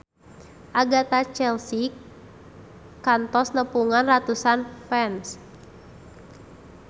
Agatha Chelsea kantos nepungan ratusan fans